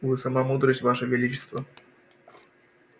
вы сама мудрость ваше величество